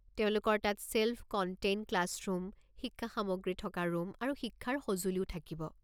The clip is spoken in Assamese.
তেওঁলোকৰ তাত ছেল্ফ-কণ্টেইণ্ড ক্লাছৰুম, শিক্ষা সামগ্ৰী থকা ৰুম আৰু শিক্ষাৰ সঁজুলিও থাকিব।